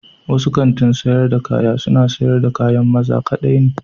Wasu kanti sayar da kaya suna siyar da kayan maza kaɗai ne.